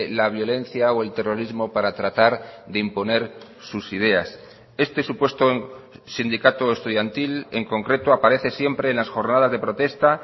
la violencia o el terrorismo para tratar de imponer sus ideas este supuesto sindicato estudiantil en concreto aparece siempre en las jornadas de protesta